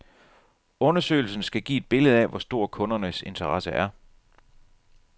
Undersøgelsen skal give et billede af, hvor stor kundernes interesse er.